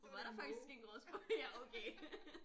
Og var der faktisk en gråspurv. Ja okay